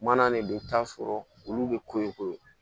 Mana de don i bi taa sɔrɔ olu bɛ ko in ko